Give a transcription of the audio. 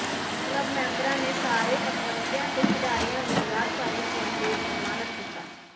club ਮੈਂਬਰਾਂ ਨੇ ਸਾਰੇ ਪਤਵੰਤਿਆਂ ਤੇ ਖਿਡਾਰੀਆਂ ਨੂੰ ਯਾਦਗਾਰੀ ਚਿੰਨ੍ਹ ਕੇ ਸਨਮਾਨਤ ਕੀਤਾ